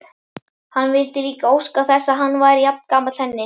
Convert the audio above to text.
Hann vildi líka óska þess að hann væri jafngamall henni.